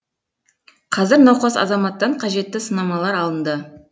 қазір науқас азаматтан қажетті сынамалар алынды